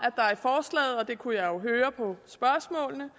at det kunne jeg jo høre på spørgsmålene